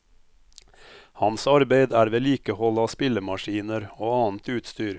Hans arbeid er vedlikehold av spillemaskiner og annet utstyr.